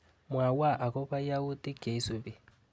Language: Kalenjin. Mwawa akobo yautik cheisupi.